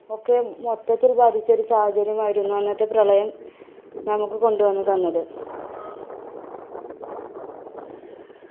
ഒക്കെ മൊത്തത്തിൽ ബാധിച്ച ഒരു സാഹചര്യമായിരുന്നു അന്നത്തെ പ്രളയം നമുക്ക് കൊണ്ടുവന്ന് തന്നത്.